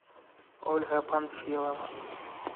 ольга панфилова